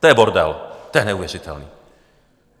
To je bordel, to je neuvěřitelné.